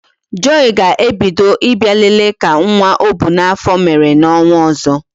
Joy ga-ebido Ị bịa lele ka nwa ọ bu n'afọ mere n'ọnwa ọzọ